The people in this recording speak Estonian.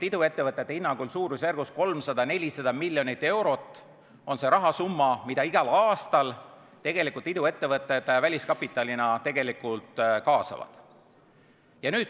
Iduettevõtete hinnangul on 300–400 miljonit eurot see rahasumma, mida iduettevõtted igal aastal väliskapitalina kaasavad.